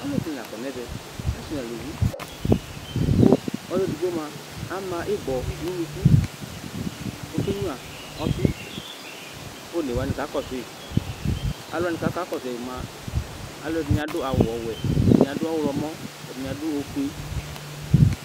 Ɔludìní la kɔ nʋ ɛvɛ: asi nʋ alʋvi kʋ ɔlʋɛdigbo mʋa ama ibɔ nʋ ʋnʋku kʋ ɔke nyʋa ɔfi kʋ ɔne wani kakɔsu yi Alʋwani kʋ akakɔsu yi bi mʋa alʋɛdìní bi adu awu ɔwɛ, ɛdiní adʋ ɔwlɔmɔ, ɛdiní adʋ ɔfʋe